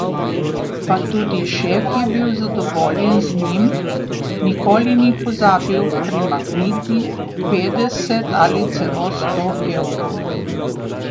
Pa tudi šef je bil zadovoljen z njim, nikoli ni pozabil primakniti petdeset ali celo sto evrov.